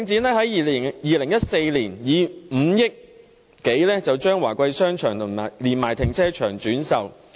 領展在2014年以5億多元的代價將華貴商場連停車場轉售。